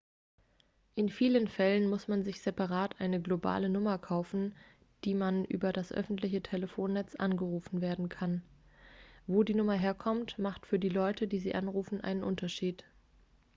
in vielen fällen muss man sich separat eine globale nummer kaufen auf die man über das öffentliche telefonnetz angerufen werden kann wo die nummer herkommt macht für die leute die sie anrufen einen unterschied